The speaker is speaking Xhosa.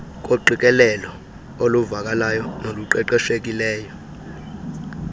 koqikelelo oluvakalayo noluqeqeshekileyo